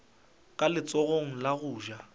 ka letsogong la go ja